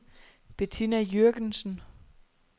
Betina Jürgensen